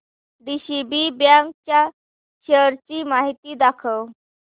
DCB bank च्या shares ची माहिती दाखव